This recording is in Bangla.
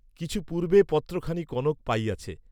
কিছু পূর্ব্বে পত্রখানি কনক পাইয়াছে।